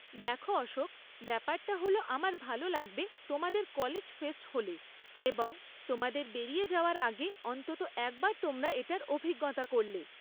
দেখো অশোক, ব্যাপারটা হল আমার ভালো লাগবে তোমাদের কলেজ ফেস্ট হলে এবং তোমাদের বেরিয়ে যাওয়ার আগে অন্তত একবার তোমরা এটার অভিজ্ঞতা করলে।